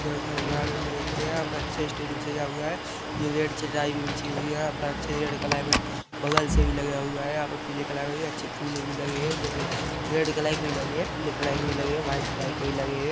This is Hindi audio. यहां पे अच्छे स्टेज भी सजा हुआ है जो रेड चटाई बिछी हुई है यहां पे अच्छे रेड कलर मे बगल से भी लगा हुआ है पीले कलर का अच्छे फूले भी लगे हुए है जैसे रेड कलर के भी लगे है पीले कलर के भी लगे है और वाइट कलर के भी लगे है।